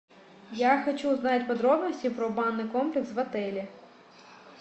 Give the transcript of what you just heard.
я хочу узнать подробности про банный комплекс в отеле